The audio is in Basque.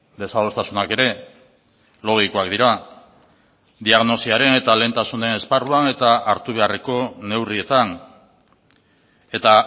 desadostasunak ere logikoak dira diagnosiaren eta lehentasunen esparruan eta hartu beharreko neurrietan eta